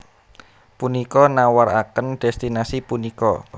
Punika nawaraken destinasi punika